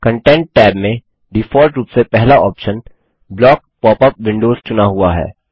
content tab में default रूप से पहला option block pop up windows चुना हुआ है